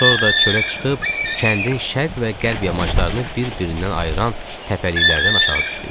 Sonra da çölə çıxıb, kəndin şərq və qərb yamaçlarını bir-birindən ayıran təpəliklərdən aşağı düşdük.